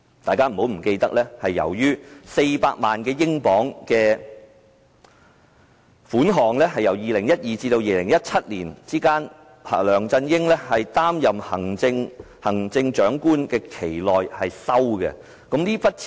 大家不要忘記， 400萬英鎊是2012年至2017年，梁振英在擔任行政長官的期間內收受的款項。